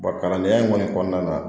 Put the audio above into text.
kalandenya in kɔni kɔnɔna na